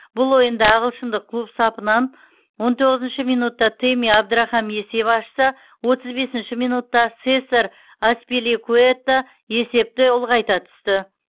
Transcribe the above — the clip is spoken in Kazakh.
бұл ойында ағылшындық клуб сапынан он тоғызыншы минутта тэмми абдрахам есеп ашса отыз бесінші минутта сесар аспиликуэта есепті ұлғайта түсті